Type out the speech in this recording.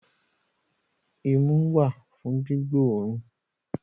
Imú wà fún gbígbóòrùn